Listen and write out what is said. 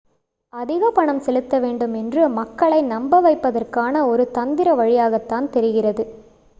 அதிக பணம் செலுத்தவேண்டும் என்று மக்களை நம்பவைப்பதற்கான ஒரு தந்திர வழியாகத்தான் தெரிகிறது